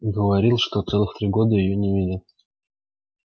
говорил что целых три года её не видел